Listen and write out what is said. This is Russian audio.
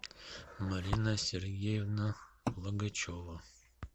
марина сергеевна логачева